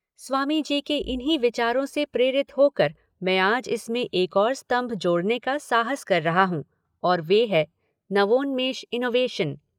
स्वामी जी के इन्हीं विचारों से प्रेरित होकर के मैं आज इसमें एक ओर स्तंभ जोड़ने का साहस कर रहा हूँ और वह है नवोन्मेष इनोवेशन।